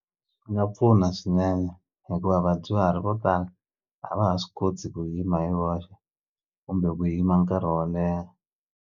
Swi nga pfuna swinene hikuva vadyuhari vo tala a va ha swi koti ku yima hi voxe kumbe ku yima nkarhi wo leha.